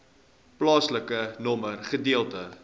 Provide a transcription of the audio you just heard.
plaasnommer gedeelte